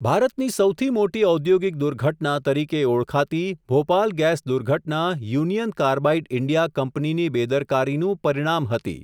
ભારતની સૌથી મોટી ઔદ્યોગિક દુર્ઘટના, તરીકે ઓળખાતી ભોપાલ ગેસ દુર્ઘટના યુનિયન કાર્બાઇડ ઇન્ડિયા કંપનીની બેદરકારીનું પરિણામ હતી.